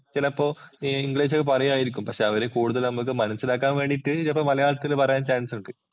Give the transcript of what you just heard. ചിലപ്പോ ഇംഗ്ലീഷ് ഒക്കെ പറയുവായിരിക്കും. പക്ഷെ അവര് കൂടുതല്‍ നമ്മക്ക് മനസിലാക്കാന്‍ വേണ്ടീട്ടു ചെലപ്പോ മലയാളത്തില്‍ പറയാന്‍ ചാന്‍സ് ഒണ്ട്.